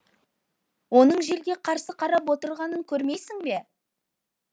оның желге қарсы қарап отырғанын көрмейсің бе